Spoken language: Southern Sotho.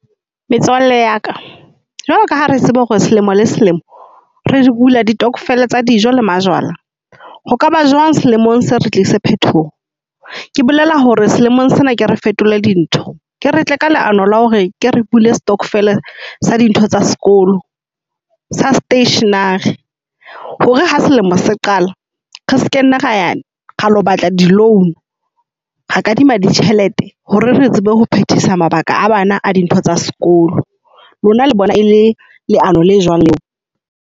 Metswalle ya ka, jwalo ka ha re tseba hore selemo le selemo re bula ditokvel tsa dijo le majwala ho kaba jwang selemong se re tlisa phetoho. Ke bolela hore selemong sena ke re fetole dintho, ke re tle ka leano la hore ke re bule stockvel sa dintho tsa sekolo tsa stationery. Hore ha selemo se qala re sekenne ra yo batla di-loan. Re kadima di tjhelete hore re tsebe ho phetisa mabaka a bana dintho tsa sekolo. Lona le bona e le leano le jwang leo?